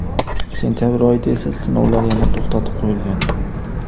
Sentabr oyida esa sinovlar yana to‘xtatib qo‘yilgan.